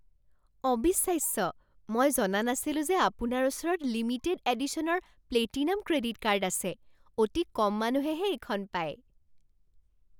অবিশ্বাস্য! মই জনা নাছিলোঁ যে আপোনাৰ ওচৰত লিমিটেড এডিশ্যনৰ প্লেটিনাম ক্ৰেডিট কাৰ্ড আছে। অতি কম মানুহেহে এইখন পায়।